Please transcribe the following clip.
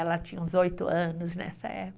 Ela tinha uns oito anos nessa época.